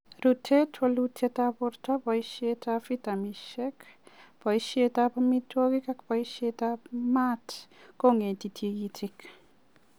Rutet, walutyetab borto, boishetab vitaminishek, boishetab amitwogik ak boishetab maat keng'ete tikitik.